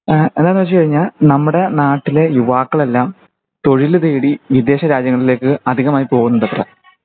ഇഹ് എന്താണുവെച്ചുകഴിഞ്ഞാൽ നമ്മുടെ നാട്ടിലെ യുവാക്കളെല്ലാം തൊഴിൽ തേടി വിദേശ രാജ്യങ്ങളിലേക് അധികമായി പോകുനുണ്ടത്രേ